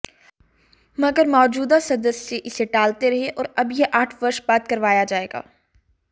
मगर मौजूदा सदस्य इसे टालते रहे और अब यह आठ वर्ष बाद करवाया जाएगा